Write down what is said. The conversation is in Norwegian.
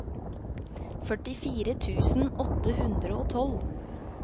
førtifire tusen åtte hundre og tolv